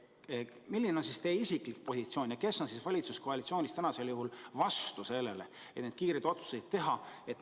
Milline on teie isiklik positsioon ja kes on valitsuskoalitsioonis vastu sellele, et need kiired otsused teha?